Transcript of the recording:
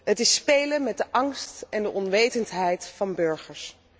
Het is spelen met de angst en de onwetendheid van burgers.